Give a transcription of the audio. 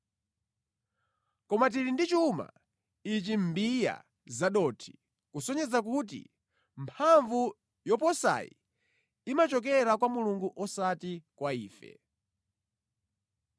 Koma tili ndi chuma ichi mʼmbiya zadothi, kusonyeza kuti mphamvu yoposayi, imachokera kwa Mulungu osati kwa ife.